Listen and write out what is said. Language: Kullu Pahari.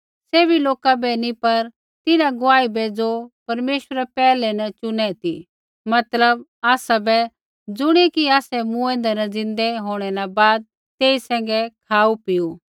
सैभी लोका बै नी पर तिन्हां गुआही बै ज़ो परमेश्वरै पैहलै न चुनै ती मतलब आसाबै ज़ुणियै कि आसै मूँऐंदै न ज़िन्दै होंणै न बाद तेई सैंघै खाऊपीऊ